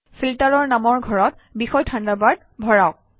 ফিল্টাৰৰ নামৰ ঘৰত বিষয় থাণ্ডাৰবাৰ্ড ভৰাওক